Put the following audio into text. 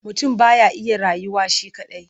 Mutum ba ya iya rayuwa shi kaɗai.